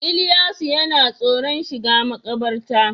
Ilyasu yana tsoron shiga makabarta